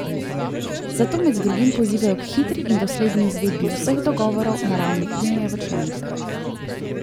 Zato med drugim pozivajo k hitri in dosledni izvedbi vseh dogovorov na ravni unije v članicah.